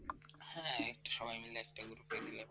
হ্যাঁ একটা সবাই মিলে একটা করে